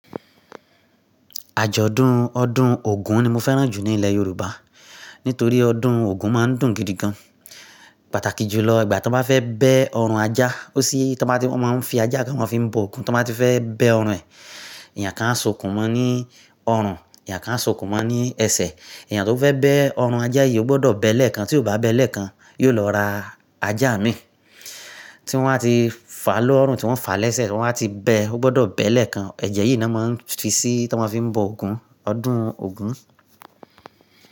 Àjọ̀dún ọdún Ògún ni mo fẹ́ràn jù ní ilẹ̀ Yorùbá, nítorí ọdún Ògún máa ń dùn gidi gan. Pàtàkì jùlọ, ìgbà tí wọ́n bá fẹ́ bẹ ọrùn ajá, ó sí tí wọ́n máa ń fi ajá kan wọ́n fi ń bọ Ògún tí wọ́n bá ti fẹ́ bẹ ọrùn ẹ̀. Èèyàn kan á s'okún mọ ní ọrùn, èèyàn kan á s'okun mọ ní ẹsẹ̀. Èèyàn tó fẹ́ bẹ ọrùn ajá yìí ó gbọdọ̀ bẹẹ lẹ́ẹ̀kan, tí ó bá bẹẹ lẹ́ẹ̀kan, yóò lọ ra ajá mìí tí wọ́n ba ti fà á l'ọrùn, tí wọ́n fà á lẹ́sẹ̀, tí wọ́n á ti bẹ ẹ́, ó gbọdọ̀ bẹ lẹ́ẹ̀kan. Ẹ̀jẹ̀ yìí ni wọ́n máa ń fi sí tí wọ́n fi ń bọ Ògún, ọdún Ògún.